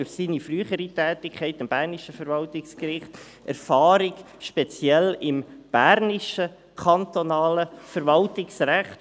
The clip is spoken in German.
durch seine frühere Tätigkeit am bernischen Verwaltungsgericht hat er auch Erfahrung speziell im bernischen kantonalen Verwaltungsrecht.